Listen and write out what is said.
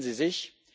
Erinnern Sie sich?